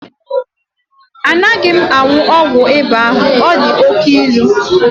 Anaghị m aṅụ ọgwụ ịba ahụ, ọ dị oke ilu.